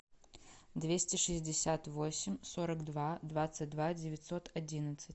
двести шестьдесят восемь сорок два двадцать два девятьсот одиннадцать